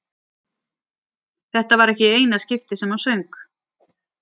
Þetta var ekki í eina skiptið sem hann söng.